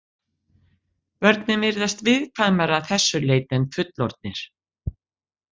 Börn virðast viðkvæmari að þessu leyti en fullorðnir.